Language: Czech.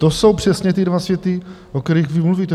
To jsou přesně ty dva světy, o kterých vy mluvíte.